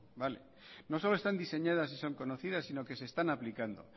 vale no solo están diseñadas y son conocidas sino que se están aplicando